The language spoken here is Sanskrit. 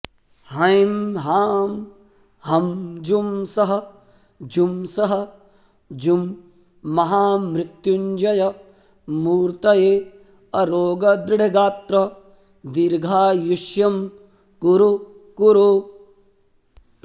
हैं हां हं जुं सः जुं सः जुं महामृत्युञ्जय मूर्तये अरोगदृढगात्र दीर्घायुष्यं कुरु कुरु